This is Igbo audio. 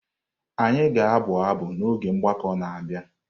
Anyị ga-abụ abụ n’oge mgbakọ na-abịa.